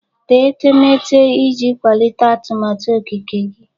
Tee etemeete iji kwalite atụmatụ okike gị.